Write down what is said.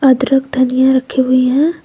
अदरक धनिया रखी हुई हैं।